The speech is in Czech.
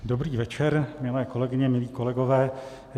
Dobrý večer, milé kolegyně, milí kolegové.